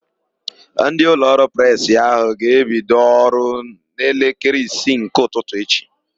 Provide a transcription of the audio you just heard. Ndị ụlọọrụ Presị áhụ̀ ga-ebido ọrụ n'elekere isii nke ụtụtụ echi.